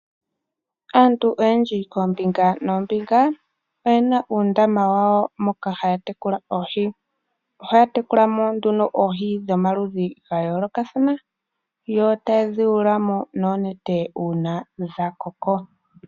Aantu oyendji koombinga noombinga oyena uundama wawo moka haya tekula oohi. Ohaya tekulamo nduno oohi dhomaludhi gayoolokathana yo tayedhi yuulamo noonete uuna dhakoko.